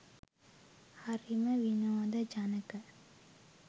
හරිම විනෝදජනක